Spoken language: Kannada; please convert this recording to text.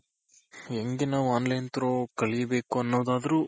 ಹೆಂಗೆ ನಾವು online through ಕಲಿಬೇಕು ಅನ್ನೋದಾದ್ರೂ